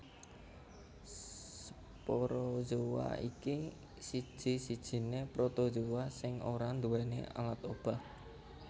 Sporozoa iki siji sijiné Protozoa sing ora nduwèni alat obah